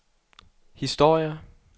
historier